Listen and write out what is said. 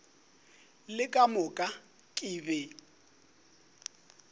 le ka moka ke be